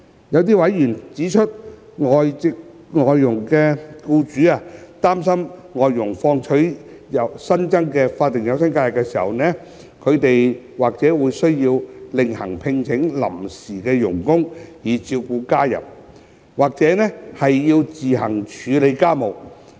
這些委員指出，有外傭僱主擔心，當外傭放取新增法定假日時，他們或需另行聘請臨時傭工以照顧家人，或要自行處理家務。